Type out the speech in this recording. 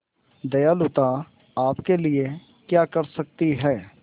दयालुता आपके लिए क्या कर सकती है